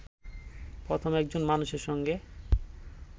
প্রথম একজন মানুষের সঙ্গে